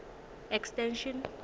extension